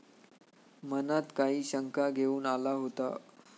मनात काही शंका घेऊन आला होता.